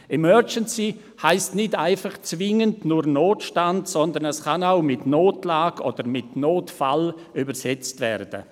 «Emergency» heisst nicht zwingend nur Notstand, sondern kann mit Notlage oder mit Notfall übersetzt werden.